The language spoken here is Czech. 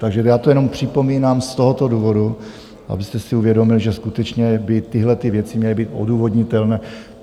Takže já to jenom připomínám z tohoto důvodu, abyste si uvědomil, že skutečně by tyhlety věci měly být odůvodnitelné.